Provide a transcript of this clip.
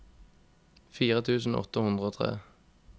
fire tusen åtte hundre og tre